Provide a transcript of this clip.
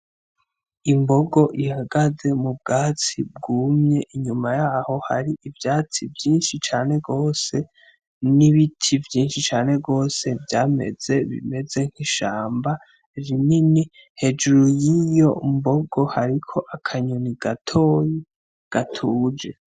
Imbogo ihagaze mu bwatsi bwumye, inyuma yaho hari ivyatsi vyinshi cane rwose n'ibiti vyinshi cane rwose vyameze bimeze nk'ishamba rinini. Hejuru y'iyo mbogo hariko akanyoni gatoyi gatuje.